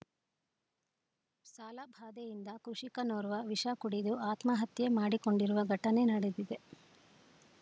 ಸಾಲಬಾಧೆಯಿಂದ ಕೃಷಿಕನೋರ್ವ ವಿಷ ಕುಡಿದು ಆತ್ಮಹತ್ಯೆ ಮಾಡಿಕೊಂಡಿರುವ ಘಟನೆ ನಡೆದಿದೆ